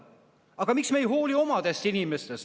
Aga miks me ei hooli oma inimestest?